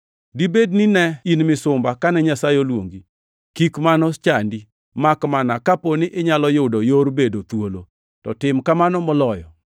Dibed ni ne in misumba kane Nyasaye oluongi? Kik mano chandi, makmana kapo ni inyalo yudo yor bedo thuolo, to tim kamano moloyo.